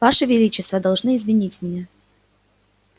ваше величество должны извинить меня